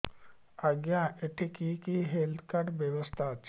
ଆଜ୍ଞା ଏଠି କି କି ହେଲ୍ଥ କାର୍ଡ ବ୍ୟବସ୍ଥା ଅଛି